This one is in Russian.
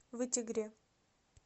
вытегре